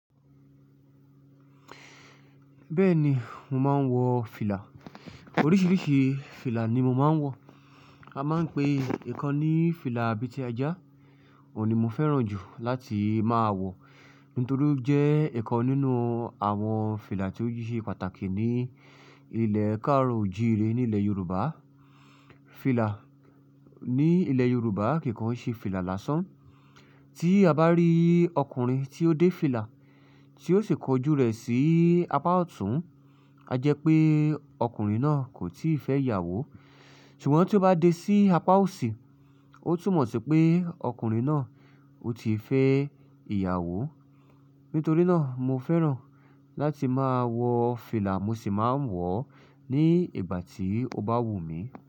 Bẹ́ẹ̀ni, mo máa ń wọ fìlà. Oríṣiríṣi fìlà ni mo máa ń wọ. A máa ń pe ìkan ní fìlà abètíẹjá, òun ni mo fẹ́ràn jù láti máa wọ, nítorí ó jẹ́ ìkan nínú àwọn fìlà tí ó jí ṣe pàtàkì ní ilẹ̀ káàro òjìire nílẹ̀ Yorùbá. Fìlà ní ilẹ̀ Yorùbá kì kàn ṣe fìlà lásán. Tí a bá rí ọkùnrin tí ó dé fìlà tí ó sì kọjú rẹ̀ sí apá ọ̀tún, a jẹ́ pé ọkùnrin náà kò tíì fẹ́ ìyàwó. Ṣùgbọ́n tí ó bá dé sí apá òsì, ó tún mọ̀ pé ọkùnrin náà ó ti fẹ́ ìyàwó. Nítorí náà mo fẹ́ràn láti máa wọ fìlà, mo sì máa ń wọ̀ ọ́ ní ìgbà tí ó bá wù mí.